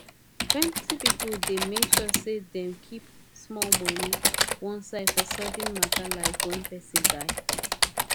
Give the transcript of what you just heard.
plenti people dey make sure say dem keep small money one side for sudden mata like when person die